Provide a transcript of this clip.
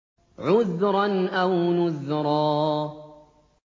عُذْرًا أَوْ نُذْرًا